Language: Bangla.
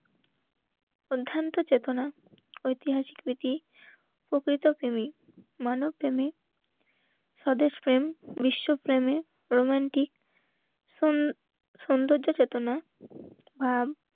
অধ্যান্ত চেতনা, ঐতিহাসিক প্রীতি প্রকৃত প্রেমী মানব প্রেমিক, স্বদেশ প্রেম, বিশ্ব প্রেমে রোমান্টিক সৌন্দর্য চেতনা আ